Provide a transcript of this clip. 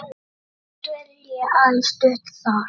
þeirra dvelji aðeins stutt þar.